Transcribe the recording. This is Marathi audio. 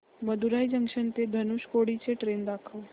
मदुरई जंक्शन ते धनुषकोडी ची ट्रेन दाखव